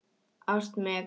Ást, Megan.